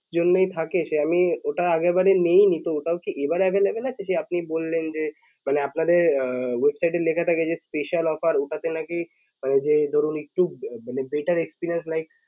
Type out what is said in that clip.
জন্যই থাকে সে আমি ওটা আগেরবার মেনেই নিতে হতো এবার available আছে সে আপনি বললেন যে মানে আপনাদের আহ website এ লেখা থাকে যে special offer ওটাতে নাকি ঐ যে ধরুন একটু better experience like